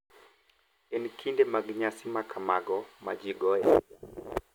En e kinde mag nyasi ma kamago ma ji goyoe sigana,